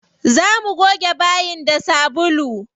Za mu goge bayin da sabulu.